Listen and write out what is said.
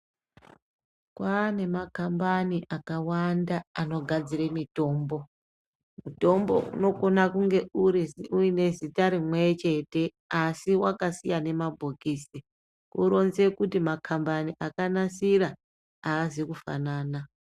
Kwane makambani akawanda anogadzire mitombo, mutombo unokona kunge uri uyine zita rimwe chete asi wakasiyane mabhokisi, kuronze kuti makambani akanasira haazi kufanana.